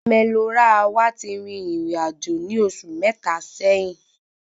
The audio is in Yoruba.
Ome Lo Ra wà tí rìn ìrìnàjò ní oṣù mẹta sẹ́yín